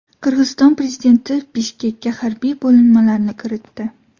Qirg‘iziston prezidenti Bishkekka harbiy bo‘linmalarni kiritdi.